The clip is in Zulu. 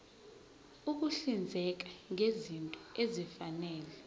ukuhlinzeka ngezinto ezifanele